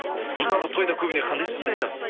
мысалға тойда көбіне қандай сөз айтасыз